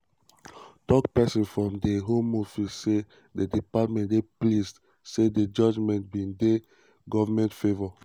tok-tok pesin from di home office say di department dey "pleased" say di judgement bin dey di goment favour.